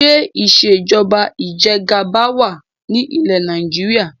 Ṣé ìsèjọba ìjẹgàba wá ní ilẹ́ Nàìjíríà?